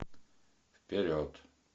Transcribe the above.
вперед